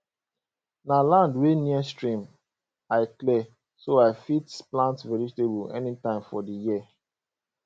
na land wey near stream i clear so i fit plant vegetable anytime for the year